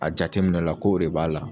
A jateminɛ o la kow de b'a la